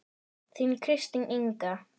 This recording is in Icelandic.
Þín Kristín Inga.